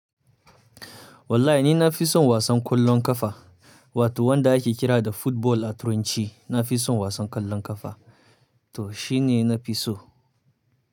Wallahi ni na fi son wasan ƙwallon ƙafa wato wanda ake kira da football a turanci. Na fi son wasan ƙwallon ƙafa to shine na fi so.